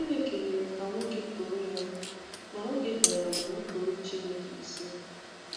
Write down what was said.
Chineke mere ka nwoke too Ya, ma nwoke dara ma nupụrụ Chineke isi.